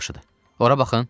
Ora baxın.